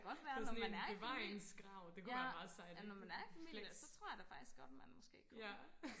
det kunne da godt være når man er i familie ja når man er i familie så tror jeg faktisk godt man måske kunne få lov